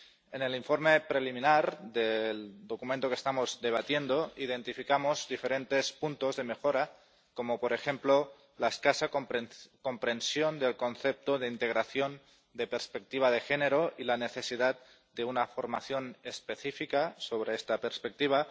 En el informe preliminar del documento que estamos debatiendo, identificamos diferentes puntos de mejora, como, por ejemplo, la escasa comprensión del concepto de integración de perspectiva de género y la necesidad de una formación específica sobre esta perspectiva